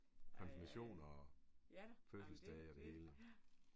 Konfirmation og fødselsdag og det hele